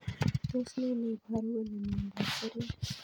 Tos ne neiparu kole miondop seriat